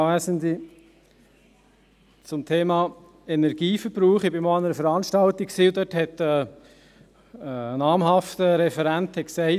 Zum Thema Energieverbrauch: Ich war einmal an einer Veranstaltung, an der ein namhafter Referent sagte: